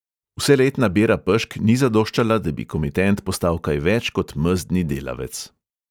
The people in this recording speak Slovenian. Vseletna bera pešk ni zadoščala, da bi komitent postal kaj več kot mezdni delavec.